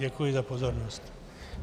Děkuji za pozornost.